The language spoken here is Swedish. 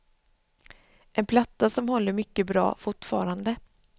En platta som håller mycket bra fortfarande.